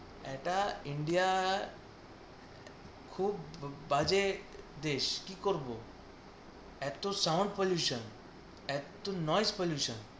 এটা ইন্ডিয়ায় খুব বাজে দেশ, কি করব এত sound pollution এত pollution